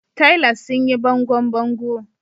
Tilers sun yi bangon bango.